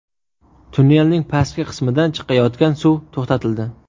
Tunnelning pastki qismidan chiqayotgan suv to‘xtatildi.